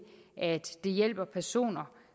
at det hjælper personer